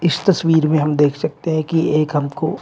इस तस्वीर में हम देख सकते हैं कि एक हमको--